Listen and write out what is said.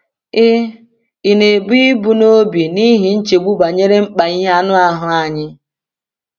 Ị̀ Ị̀ na-ebu ibu n’obi n’ihi nchegbu banyere mkpa ihe anụ ahụ anyị?